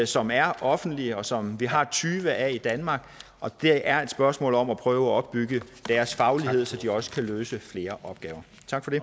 som er offentlige og som vi har tyve af i danmark det er et spørgsmål om at prøve at opbygge deres faglighed så de også kan løse flere opgaver tak for det